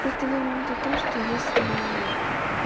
просто я имею в виду то что если